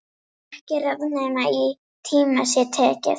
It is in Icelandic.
Ekki ráð nema í tíma sé tekið.